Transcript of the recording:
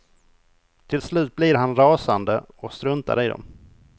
Till slut blir han rasande och struntar i dem.